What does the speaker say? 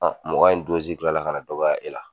mɔgɔya in kila la ka na dɔgɔya e la.